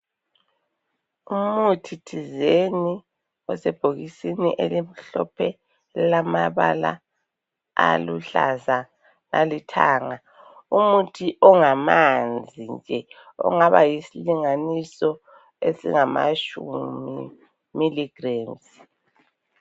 Umuthi thizeni osebhokisini elimhlophe elamabala aluhlaza lalithanga, umuthi ongamanzi nje, ongaba yisilinganiso esingamatshumi miligremzi.